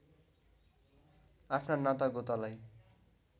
आफ्ना नातागोतालाई